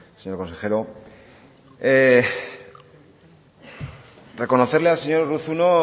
señor consejero reconocerle al señor urruzuno